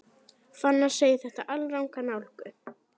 Fannar segir þetta alranga nálgun.